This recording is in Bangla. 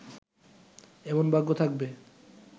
এমন ভাগ্য থাকবে